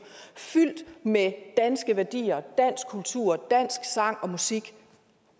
fyldt med danske værdier dansk kultur dansk sang og musik